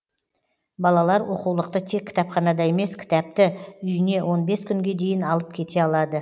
балалар оқулықты тек кітапханада емес кітапті үйіне он бес күнге дейін алып кете алады